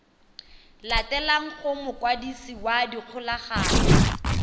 latelang go mokwadisi wa dikgolagano